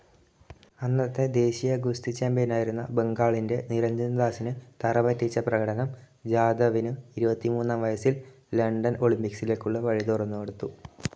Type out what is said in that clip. അന്നത്തെ ദേശീയ ഗുസ്തി ചാമ്പ്യനായിരുന്ന ബംഗാളിൻ്റെ നിരഞ്ജൻദാസിനെ തറപറ്റിച്ച പ്രകടനം, ജാദവിനു ഇരുപത്തിമൂന്നാം വയസിൽ ലണ്ടൻ ഒളിമ്പിക്സിലേക്കുള്ള വഴി തുറന്നുകൊടുത്തു.